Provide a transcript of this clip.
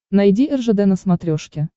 найди ржд на смотрешке